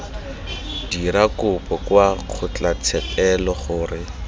dira kopo kwa kgotlatshekelo gore